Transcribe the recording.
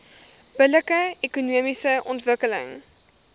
billike ekonomiese ontwikkeling